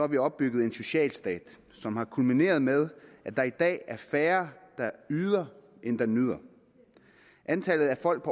vi opbygget en socialstat som er kulmineret med at der i dag er færre der yder end der nyder antallet af folk